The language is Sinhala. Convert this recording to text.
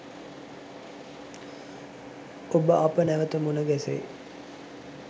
ඔබ අප නැවත මුණ ගැසෙයි